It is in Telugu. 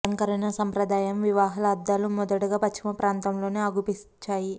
అలంకరణ సంప్రదాయం వివాహ అద్దాలు మొదటగా పశ్చిమ ప్రాంతములోనే అగుపించాయి